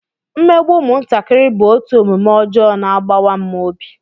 Mmegbu ụmụntakịrị bụ otu omume ọjọọ na-agbawa m obi